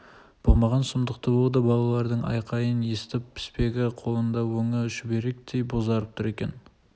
болған сұмдықты ол да балалардың айқайынан естіп піспегі қолында өңі шүберектей бозарып тұр екен